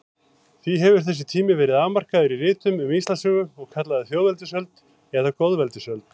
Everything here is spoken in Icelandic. Því hefur þessi tími verið afmarkaður í ritum um Íslandssögu og kallaður þjóðveldisöld eða goðaveldisöld.